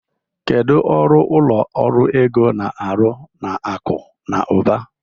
Kedu ọrụ ụlọ ọrụ ego na-arụ na akụ na ụba?